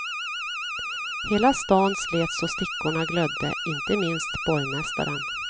Hela stan slet så stickorna glödde, inte minst borgmästaren.